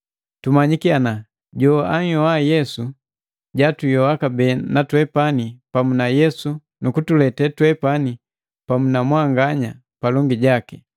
tumanyiki ana joanhyoa Bambu Yesu jatuyoa kabee na twepani pamu na Yesu nukutuletee twepani pamu na mwanganya palongi jaki.